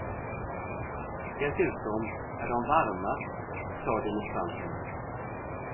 Dessutom är dom varma, sa demonstranterna.